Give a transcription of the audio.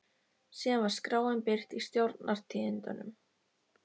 Síðan var skráin birt í Stjórnar- tíðindum.